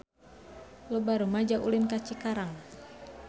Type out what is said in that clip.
Loba rumaja ulin ka Cikarang